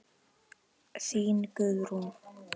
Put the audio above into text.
Þín Guðrún.